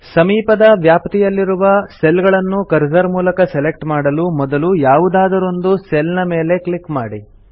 ಸಮೀಪದ ವ್ಯಾಪ್ತಿಯಲ್ಲಿರುವ ಸೆಲ್ ಗಳನ್ನುಕರ್ಸರ್ ನ ಮೂಲಕ ಸೆಲೆಕ್ಟ್ ಮಾಡಲು ಮೊದಲು ಯಾವುದಾದರೊಂದು ಸೆಲ್ ನ ಮೇಲೆ ಕ್ಲಿಕ್ ಮಾಡಿ